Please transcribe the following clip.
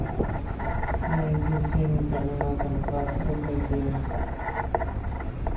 найди фильм терминатор два судный день